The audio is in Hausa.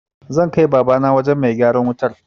Zan kai Babana wajen mai gyaran wutar.